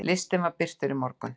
Listinn var birtur í morgun.